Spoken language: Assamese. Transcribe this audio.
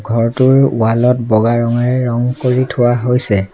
ঘৰটোৰ ৱাল ত বগা ৰঙেৰে ৰং কৰি থোৱা হৈছে।